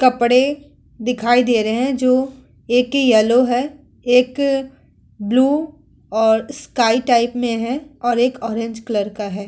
कपडे दिखाई दे रहे हैं जो एक येलो है एक ब्लू और एक स्काई टाइप में है और एक ऑरेंज कलर का है।